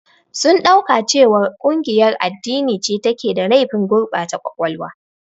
Sun ɗauka cewa ƙungiyar addini ce take da laifin gurbata ƙwaƙwalwa.